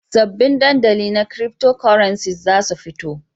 Sabbin dandali na Cryptocurrencies za su fito.